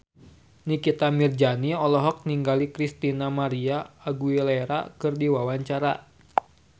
Nikita Mirzani olohok ningali Christina María Aguilera keur diwawancara